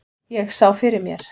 Ég sá mig fyrir mér.